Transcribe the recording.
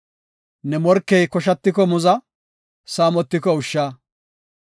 Ne morkey koshatiko muza; saamotiko ushsha.